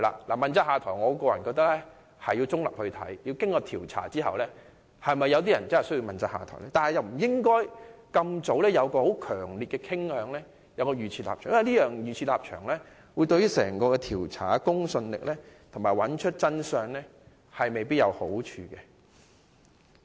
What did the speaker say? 我個人認為，應該先作調查，才考慮是否有人需要問責下台，而不應該在調查之前已有強烈的傾向及預設立場，因為預設立場對於調查的公信力及查明真相未必有好處。